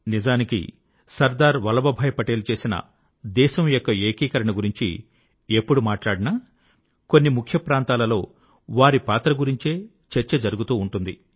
నిజానికి సర్దార్ వల్లభభాయి పటేల్ చేసిన దేశం యొక్క ఏకీకరణ గురించి ఎప్పుడు మాట్లాడినా కొన్ని ముఖ్య ప్రాంతాల లో వారి పాత్ర గురించే చర్చ జరుగుతూ ఉంటుంది